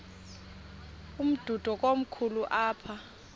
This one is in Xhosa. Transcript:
umdudo komkhulu apha